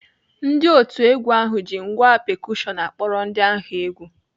Ndị otu egwu ahụ ji ngwá pekushọn akpọrọ ndị ahụ egwu.